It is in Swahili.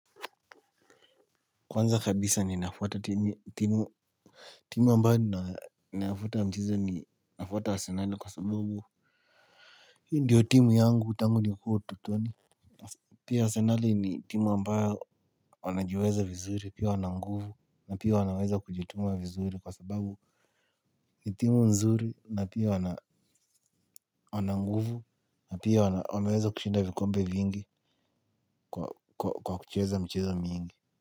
Kwanza kabisa ninafuata timu, timu ambayo nafuata mchezo ni nafuata arsenal kwa sababu hii ndiyo timu yangu tangu nipo utotoni. Pia arsenal ni timu ambayo wanajiweza vizuri pia wana nguvu. Na pia wanaweza kujituma vizuri kwa sababu ni timu nzuri na pia wana nguvu. Na pia wameweza kushinda vikombe vingi. Kwa kucheza michezo mingi.